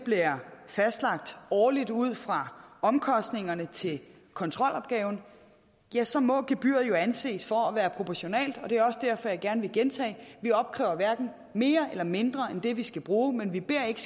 fastlagt årligt ud fra omkostningerne til kontrolopgaven ja så må gebyret jo anses for at være proportionalt det er også derfor jeg gerne vil gentage vi opkræver hverken mere eller mindre end det vi skal bruge men vi beder ikke